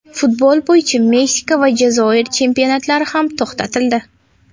Futbol bo‘yicha Meksika va Jazoir chempionatlari ham to‘xtatildi.